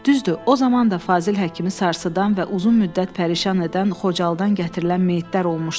Düzdür, o zaman da Fazil Həkimi sarsıdan və uzun müddət pərişan edən Xocalıdan gətirilən meyitlər olmuşdu.